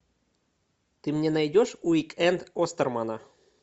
ты мне найдешь уик энд остермана